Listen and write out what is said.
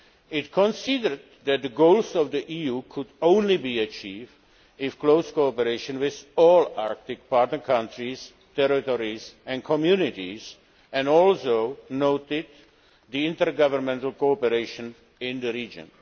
It considered that the goals of the EU could only be achieved in close cooperation with all Arctic partner countries, territories and communities, and also noted the intergovernmental cooperation in the region.